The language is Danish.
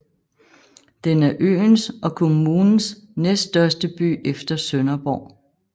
Den er øens og kommunens næststørste by efter Sønderborg